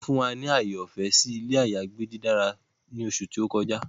Wọn fun wa ni aaye ọfẹ si ilé àyágbé didára ni oṣú to kọjá